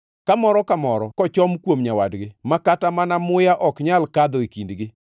ka moro ka moro kochom kuom nyawadgi ma kata mana muya ok nyal kadho e kindgi.